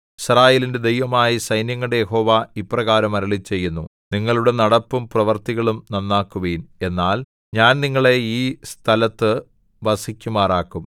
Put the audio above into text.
യിസ്രായേലിന്റെ ദൈവമായ സൈന്യങ്ങളുടെ യഹോവ ഇപ്രകാരം അരുളിച്ചെയ്യുന്നു നിങ്ങളുടെ നടപ്പും പ്രവൃത്തികളും നന്നാക്കുവിൻ എന്നാൽ ഞാൻ നിങ്ങളെ ഈ സ്ഥലത്തു വസിക്കുമാറാക്കും